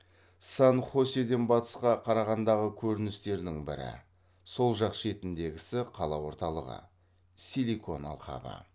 сан хоседен батысқа қарағандағы көріністердің бірі силикон алқабы